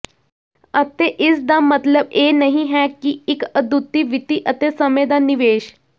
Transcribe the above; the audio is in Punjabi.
ਅਤੇ ਇਸਦਾ ਮਤਲਬ ਇਹ ਨਹੀਂ ਹੈ ਕਿ ਇੱਕ ਅਦੁੱਤੀ ਵਿੱਤੀ ਅਤੇ ਸਮੇਂ ਦਾ ਨਿਵੇਸ਼